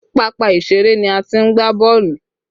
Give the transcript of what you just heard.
Pápá ìṣeré ni a ti ń gbá boolu